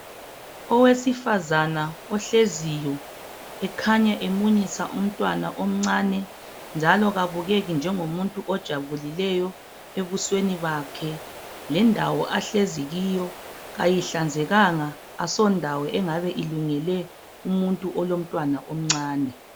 Owesifazana ohleziyo ekhanya emunyisa umntwana omncane njalo kabukeki njengomuntu ojabulileyo ebusweni bakhe lendawo ahlezi kuyo kayihlanzekanga asondawo engabe ilungele umuntu olomntwana omncane.